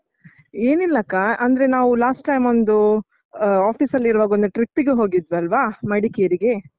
ಏನಿಲ್ಲಕ್ಕ, ಅಂದ್ರೆ ನಾವು last time ಒಂದು ಅಹ್ office ನಲ್ಲಿರುವಾಗ ಒಂದು trip ಗೆ ಹೋಗಿದ್ವಲ್ವಾ, ಮಡಿಕೇರಿಗೆ?